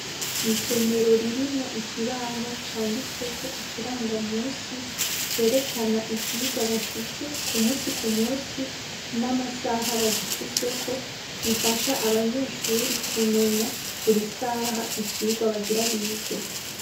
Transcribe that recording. Isomero ririmwo ikibaho canditsweko ikiranga munsi cerekana ivyirwa bafise kumunsi kumunsi namasaha bagifiseko gifasha abanyeshure kumenya burisaha icirwa bagira bige